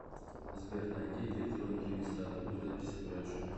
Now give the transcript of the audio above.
сбер найди электронную регистратуру записи к врачу